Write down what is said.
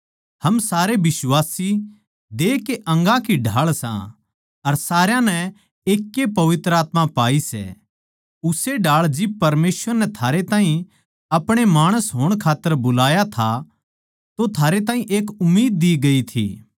हम सारे बिश्वासी देह के अंगां की ढाळ सां अर सारया नै एकैए पवित्र आत्मा पाई सै उस्से ढाळ जिब परमेसवर नै थारे ताहीं आपणे माणस होण खात्तर बुलाया था तो थारे ताहीं एक उम्मीद दि गई थी